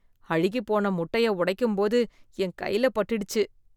அழுகிப்போன முட்டை உடைக்கும் போது என் கையில பட்டுடுச்சு